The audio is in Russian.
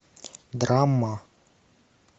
драма